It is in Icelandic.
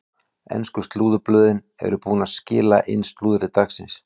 Ensku slúðurblöðin eru búin að skila inn slúðri dagsins.